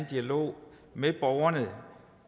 dialog med borgerne